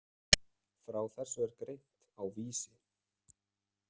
Frá þessu er greint á Vísi.